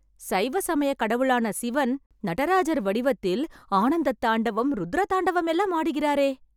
சைவ சமயக் கடவுளான சிவன் நடராஜர் வடிவத்தில் ஆனந்தத் தாண்டவம், ருத்ர தாண்டவம் எல்லாம் ஆடுகிறாரே...